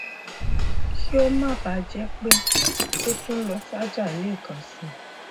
kí ó má bà a jẹ pé ó tún lọ sájà lẹẹkansi